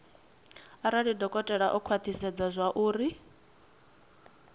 arali dokotela o khwathisedza zwauri